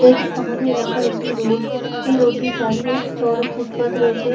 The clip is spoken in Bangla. এটি আমাদের এলাকার একটি রোড । এই রোড টির পাশে চওড়া ফুটপাথ রয়েছে--